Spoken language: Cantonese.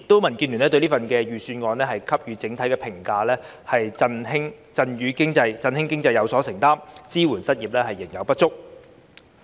民建聯對這份預算案的整體評價是"振興經濟有所承擔，支援失業仍有不足"。